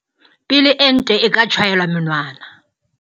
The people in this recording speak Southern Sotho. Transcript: Pele ente e ka tjhaelwa monwana.